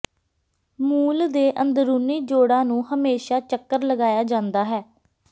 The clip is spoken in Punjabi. ਮੂਲ ਦੇ ਅੰਦਰੂਨੀ ਜੋੜਾਂ ਨੂੰ ਹਮੇਸ਼ਾ ਚੱਕਰ ਲਗਾਇਆ ਜਾਂਦਾ ਹੈ